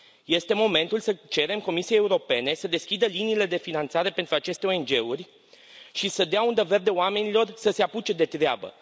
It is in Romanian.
Este momentul să cerem Comisiei Europene să deschidă liniile de finanțare pentru aceste ONG uri și să dea undă verde oamenilor să se apuce de treabă.